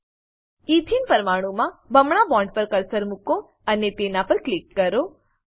એથેને ethene પરમાણુંમાં બમણા bond પર કર્સર મુકો અને તેના પર ક્લિક કરો